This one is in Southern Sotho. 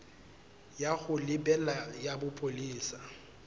ya ho lebela ya bopolesa